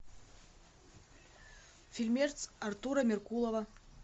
фильмец артура меркулова